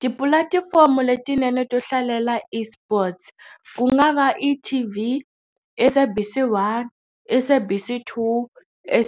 Tipulatifomo letinene to hlalela eSports ku nga va eT_V, SABC 1, SABC 2,